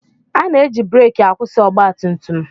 Ana-eji breekị akwụsị ọgbatumtum.